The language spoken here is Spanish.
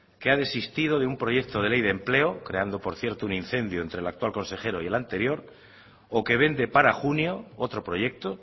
que ha desistido de un proyecto de ley de empleo creando por cierto un incendio entre el actual consejero y el anterior o que vende para junio otro proyecto